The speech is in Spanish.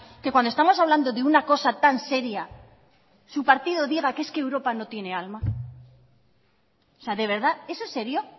que cuando estamos hablando de una cosa tan seria su partido diga que es que europa no tiene alma o sea de verdad eso es serio